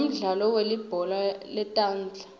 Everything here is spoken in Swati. sinemdlalo welibhola letandza